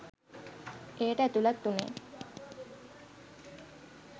එයට ඇතුළත් වුනේ